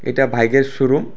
এটা বাইকের শোরুম ।